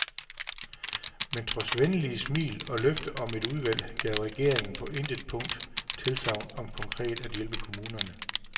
Men trods venlige smil og løfte om et udvalg gav regeringen på intet punkt tilsagn om konkret at hjælpe kommunerne.